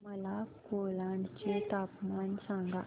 मला कोलाड चे तापमान सांगा